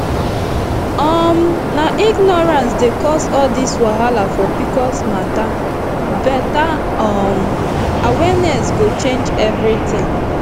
um na ignorance dey cause all this wahala for pcos matter better um awareness go change everything